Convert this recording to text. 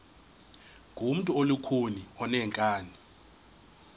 ngumntu olukhuni oneenkani